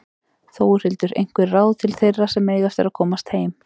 Þórhildur: Einhver ráð til þeirra sem eiga eftir að komast heim?